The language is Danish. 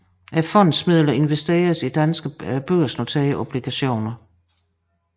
Fondens midler investeres i danske børsnoterede obligationer